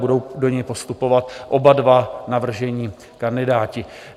Budou do něj postupovat oba dva navržení kandidáti.